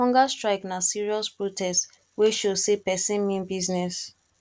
hunger strike na serious protest wey show say pesin mean business